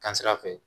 Kan sira fɛ